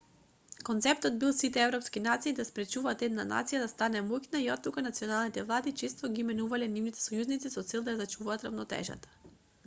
концептот бил сите европски нации да спречуваат една нација да стане моќна и оттука националните влади често ги менувале нивните сојузници со цел да ја зачуваат рамнотежата